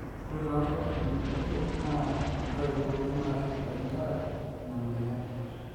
ore too nkatitin kutik na ndoiwua nashurtaki nkera ina moyian